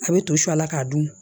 A bɛ to su a la k'a dun